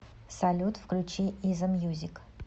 салют включи изамьюзик